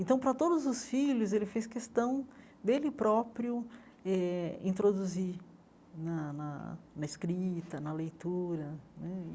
Então, para todos os filhos, ele fez questão dele próprio eh introduzir na na na escrita, na leitura né.